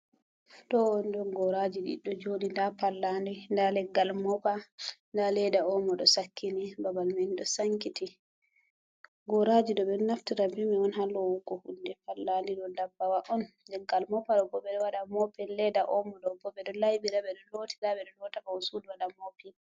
To wondon goraji diddo jodi , ɗa pallandi ɗa leggal mopa ɗa leda omo ɗo sakkini babal man do sankiti, goraji ɗo ɓedo naftira ɓe mai on ha lowugo hundé ,pallanɗi ɗo ɗabɓawa on, leggal mopa ɗo bo beɗo wada mopin ledda omo ɗobo ɓedo laibira bedo lotira beɗo lota bawo suɗu wada mopin.